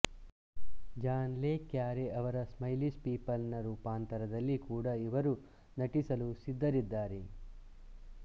John le Carré ಅವರ Smiley's People ನ ರೂಪಾಂತರದಲ್ಲಿ ಕೂಡ ಇವರು ನಟಿಸಲು ಸಿದ್ಧರಿದ್ದಾರೆ